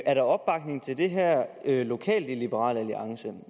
er der opbakning til det her lokalt i liberal alliance